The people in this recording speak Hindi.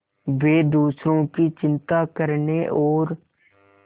वे दूसरों की चिंता करने और